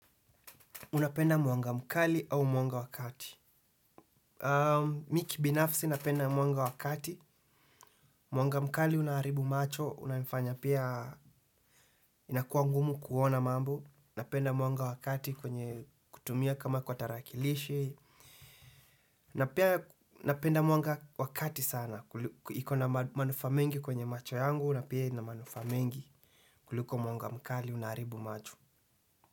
Unapenda mwanga mkali au mwanga wa kati. Mimi kibinafsi napenda mwanga wa kati. Mwanga mkali unaharibu macho. Unafanya pia inakuwa ngumu kuona mambo. Napenda mwanga wa kati kwenye kutumia kama kwa tarakilishi. Napenda mwanga wakati sana. Iko na manufaa mengi kwenye macho yangu. Na pia ina manufaa mengi kuliko mwanga mkali unaharibu macho.